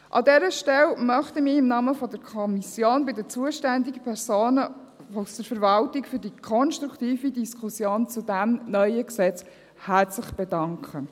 An dieser Stelle möchte ich mich im Namen der Kommission bei den zuständigen Personen aus der Verwaltung für die konstruktive Diskussion zu diesem neuen Gesetz herzlich bedanken.